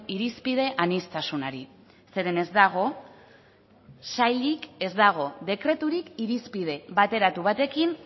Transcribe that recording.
irizpide aniztasunari zeren ez dago sailik ez dago dekreturik irizpide bateratu batekin